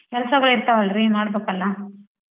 ಕೆಲ್ಸಗಳಿರ್ತವಲ್ರಿ ಮಾಡ್ಬೇಕಲ್ಲ.